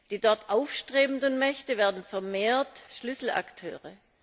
Die dort aufstrebenden Mächte werden vermehrt Schlüsselakteure.